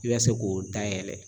I bɛ se k'o dayɛlɛ